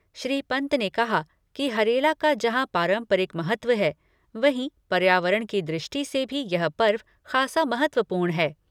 श्री पन्त ने कहा कि हरेला का जहां पारंपरिक महत्व हैं, वहीं पर्यावरण की दृष्टि से भी यह पर्व खासा महत्वपूर्ण है।